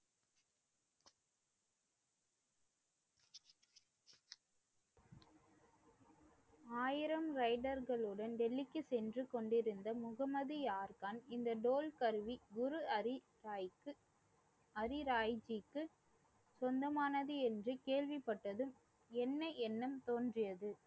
ஆயிரம் ரைடர்களுடன் டெல்லிக்கு சென்று கொண்டிருந்த முகமது யார்கான் இந்த தோல் கருவி குரு ஹரிராயிக்கு ஹரிராய்ஜிக்கு சொந்தமானது என்று கேள்விப்பட்டதும் என்ன எண்ணம் தோன்றியது.